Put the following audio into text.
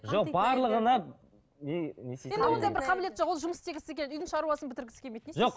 жоқ барлығына не бір қабілеті жоқ ол жұмыс істегісі келді үйдің шаруасын бітіргісі келмейді жоқ